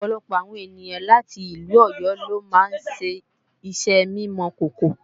ọ̀pọ̀lọpọ̀ àwọn ènìyàn láti ìlú Ọ̀yọ́ lo máa ń ṣiṣẹ́ mímọ̀kòkò